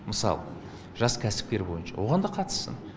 мысалы жас кәсіпкер бойынша оған да қатыссын